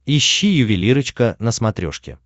ищи ювелирочка на смотрешке